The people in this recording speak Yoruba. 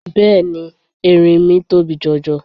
Bẹ́ẹ̀ni, erinmi tóbi jọ jọ.